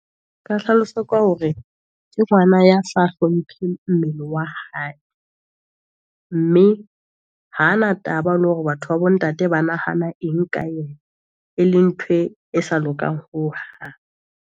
Nka hlalosa ka hore, ke ngwana ya sa hlomphe mmele wa hae, mme ha na taba le hore batho ba bo ntate ba nahana eng ka yena, e leng ntho e sa lokang hohang.